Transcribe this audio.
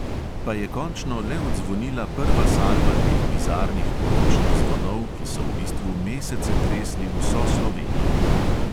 Pa je končno le odzvonila prva salva teh bizarnih poročnih zvonov, ki so v bistvu mesece tresli vso slovenijo.